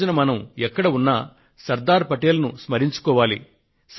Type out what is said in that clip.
ఈ రోజున మనం ఎక్కడ ఉన్నా శ్రీ సర్దార్ పటేల్ ను స్మరించుకోవాలి